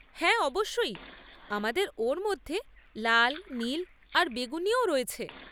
হ্যাঁ, অবশ্যই, আমাদের ওর মধ্যে লাল, নীল আর বেগুনিও রয়েছে।